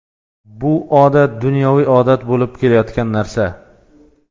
Bu odat dunyoviy odat bo‘lib kelayotgan narsa.